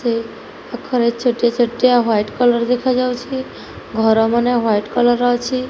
ଏହି ପାଖରେ ଛୋଟିଆ ଛୋଟିଆ ହ୍ୱାଇଟି କଲର ଦେଖାଯାଉଚି ଘର ମାନେ ହ୍ୱାଇଟି କଲର ଅଛି।